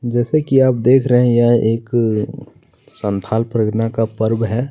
जैसा कि आप देख रहै है यह एक संथाल परियोजना पर्व है।